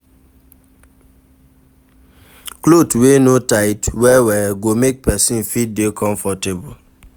Cloth wey no tight well well go make person fit dey comfortable